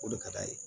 O de ka d'a ye